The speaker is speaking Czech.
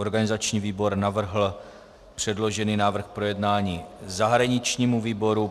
Organizační výbor navrhl předložený návrh k projednání zahraničnímu výboru.